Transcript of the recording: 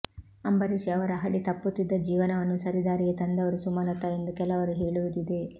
ಅಂಬರೀಶ್ ಅವರ ಹಳಿ ತಪ್ಪುತ್ತಿದ್ದ ಜೀವನವನ್ನು ಸರಿ ದಾರಿಗೆ ತಂದವರು ಸುಮಲತಾ ಎಂದು ಕೆಲವರು ಹೇಳುವುದಿದೆ